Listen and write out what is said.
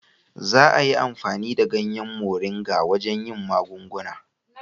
Za a yi amfani da ganyen Moringa wajen yin magunguna.